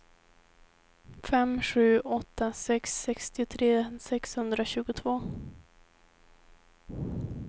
fem sju åtta sex sextiotre sexhundratjugotvå